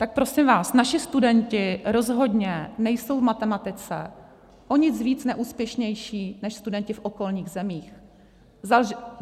Tak prosím vás, naši studenti rozhodně nejsou v matematice o nic víc neúspěšní než studenti v okolních zemích.